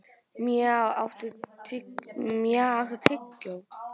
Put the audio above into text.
Maj, áttu tyggjó?